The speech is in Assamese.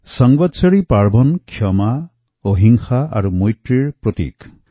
সম্বৎসৰি উৎসৱ ক্ষমা অহিংসা আৰ মৈত্ৰীৰ প্ৰতীক